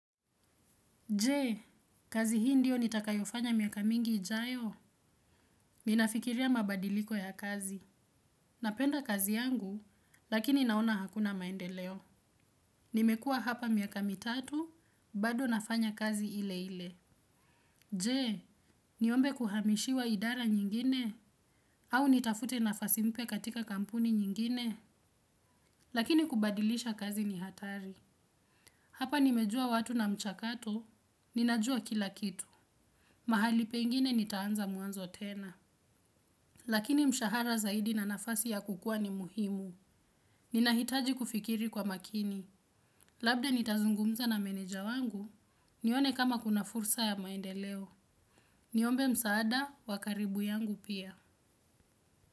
Jee, kazi hii ndiyo nitakayofanya miaka mingi ijayo. Ninafikiria mabadiliko ya kazi. Napenda kazi yangu, lakini naona hakuna maendeleo. Nimekua hapa miaka mitatu, bado nafanya kazi ile ile. Jee, niombe kuhamishiwa idara nyingine? Au nitafute nafasi mpya katika kampuni nyingine? Lakini kubadilisha kazi ni hatari. Hapa nimejua watu na mchakato, ninajua kila kitu. Mahali pengine nitaanza muanzo tena. Lakini mshahara zaidi na nafasi ya kukua ni muhimu. Ninahitaji kufikiri kwa makini. Labda nitazungumza na meneja wangu, nione kama kuna fursa ya maendeleo. Niombe msaada, wa karibu yangu pia.